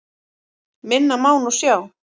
Minna má nú sjá.